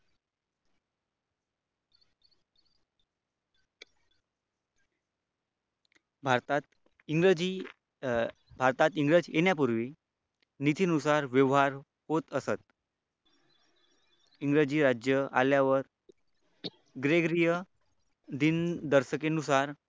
भारतात इंग्रजी भारतात इंग्रजी येण्यापूर्वी नितीनुसार व्यवहार होत असत दिनदर्शकीनुसार